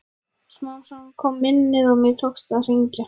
Smám saman kom minnið og mér tókst að hringja.